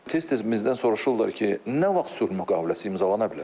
Tez-tez bizdən soruşurlar ki, nə vaxt sülh müqaviləsi imzalana bilər?